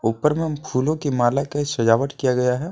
ऊपर में फूलों की माला के सजावट किया गया है।